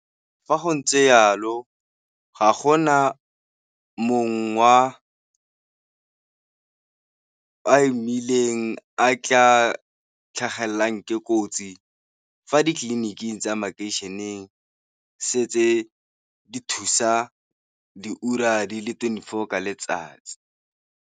Fa go ntse jalo ga gona mong o a imileng a tla tlhagelelwang ke kotsi fa ditleliniking tsa makeišeneng, setse di thusa diura di le twenty four ka letsatsi.